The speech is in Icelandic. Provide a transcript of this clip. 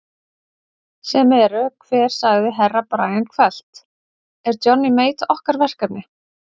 Sem eru hver sagði Herra Brian hvellt, er Johnny Mate okkar verkefni?